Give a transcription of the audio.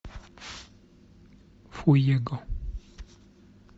фуего